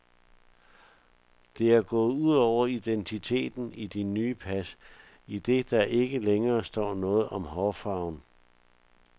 Det er gået ud over identiteten i de nye pas, idet der ikke længere står noget om hårfarven.